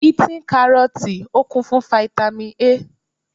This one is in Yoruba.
Be eating Kárọ́ọ́tì, ó kún fún Fáítámì A.